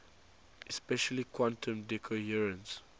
especially quantum decoherence